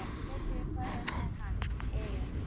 Ég veit ekki hvað er með hann Egil.